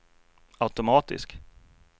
automatisk